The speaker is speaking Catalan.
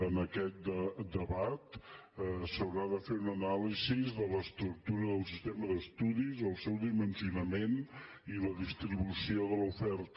en aquest debat s’haurà de fer una anàlisi de l’estructura del sistema d’estudis el seu dimensionament i la distribució de l’oferta